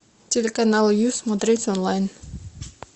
телеканал ю смотреть онлайн